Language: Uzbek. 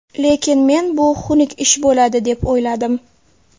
Lekin men bu xunuk ish bo‘ladi deb o‘yladim.